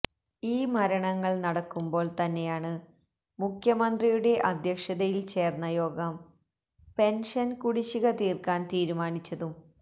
ഈ മരണങ്ങള് നടക്കുമ്പോള് തന്നെയാണ് മുഖ്യമന്ത്രിയുടെ അധ്യക്ഷതയില് ചേര്ന്ന യോഗം പെന്ഷന് കുടിശിക തീര്ക്കാന് തീരുമാനിച്ചതും